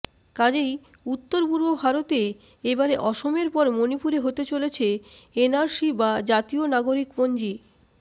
কাজেই উত্তর পূর্ব ভারতে এবারে অসমের পর মণিপুরে হতে চলেছে এনআরসি বা জাতীয় নাগরিকপঞ্জি